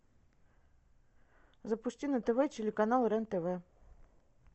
запусти на тв телеканал рен тв